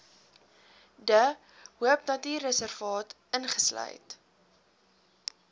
de hoopnatuurreservaat insluit